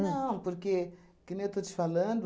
Não, porque, que nem eu estou te falando,